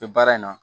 bɛ baara in na